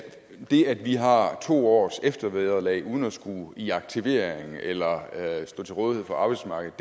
det at vi har to års eftervederlag uden at skulle i aktivering eller stå til rådighed for arbejdsmarkedet